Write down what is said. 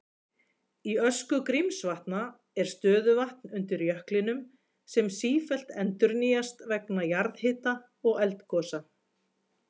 Í öskju Grímsvatna er stöðuvatn undir jöklinum sem sífellt endurnýjast vegna jarðhita og eldgosa.